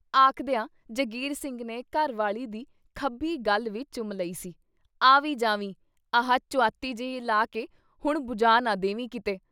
ਆਖਦਿਆਂ ਜਗੀਰ ਸਿੰਘ ਨੇ ਘਰ ਵਾਲੀ ਦੀ ਖੱਬੀ ਗੱਲ ਵੀ ਚੁੰਮ ਲਈ ਸੀ "ਆ ਵੀ ਜਾਵੀਂ ਆਹ ਚੁਆਤੀ ਜਿਹੀ ਲਾ ਕੇ ਹੁਣ ਬੁਝਾ ਨਾ ਦੇਵੀਂ ਕਿਤੇ।"